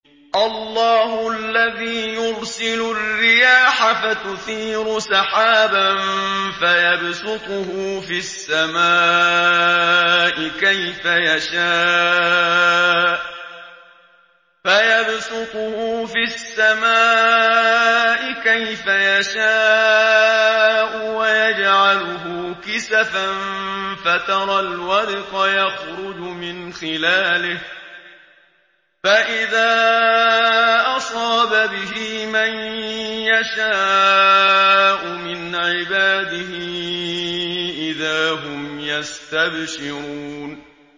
اللَّهُ الَّذِي يُرْسِلُ الرِّيَاحَ فَتُثِيرُ سَحَابًا فَيَبْسُطُهُ فِي السَّمَاءِ كَيْفَ يَشَاءُ وَيَجْعَلُهُ كِسَفًا فَتَرَى الْوَدْقَ يَخْرُجُ مِنْ خِلَالِهِ ۖ فَإِذَا أَصَابَ بِهِ مَن يَشَاءُ مِنْ عِبَادِهِ إِذَا هُمْ يَسْتَبْشِرُونَ